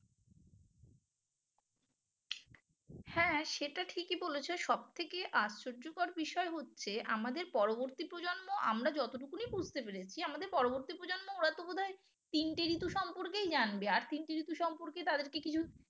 হ্যাঁ সেটা ঠিকই বলেছ সব থেকে আশ্চর্যকর বিষয় হচ্ছে আমাদের পরবর্তী প্রজন্ম আমরা যতটুকুনি বুঝতে পেরেছি আমাদের পরবর্তী প্রজন্ম ওরা তো বোধ হয় তিনটে ঋতু সম্পর্কেই জানবে আর তিনটে ঋতু সম্পর্কে তাদেরকে কিছু